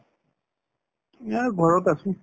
ঘৰত আছো